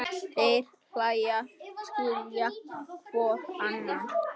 Þeir hlæja, skilja hvor annan.